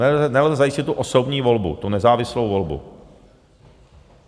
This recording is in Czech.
Nelze zajistit tu osobní volbu, tu nezávislou volbu.